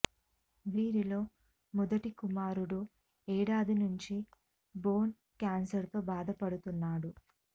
వీరిలో మొదటి కుమారుడు ఏడాది నుంచి బోన్ కేన్సర్తో బాధపడుతున్నా డు